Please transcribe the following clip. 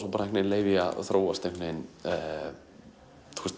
leyfi því að þróast einhvern veginn með